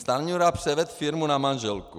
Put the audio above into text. Stanjura převedl firmu na manželku.